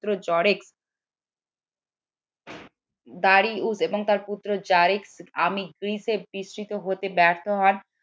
হতে ব্যর্থ হন